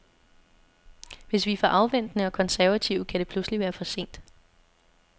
Hvis vi er for afventende og konservative, kan det pludselig være for sent.